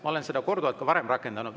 Ma olen seda ka varem korduvalt rakendanud.